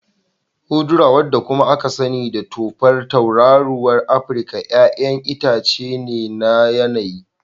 Udara, wanda kuma aka sani da tufar tauraruwar Afirka, 'ya'yan itace ne na yanayi.